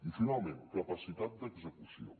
i finalment capacitat d’execució